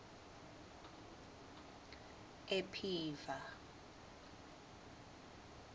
ephiva